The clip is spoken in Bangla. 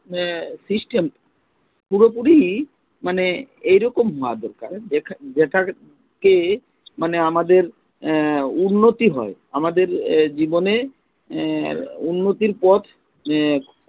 system পুরোপুরি মানে এইরকম দরকার যেটা কে মানে আমাদের উন্নতি হয়, আমাদের জীবনে উন্নতির পথ